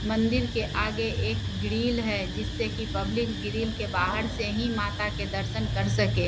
मंदिर के आगे एक ग्रिल है जिससे की पब्लिक ग्रिल के बाहर से ही माता के दर्शन कर सके।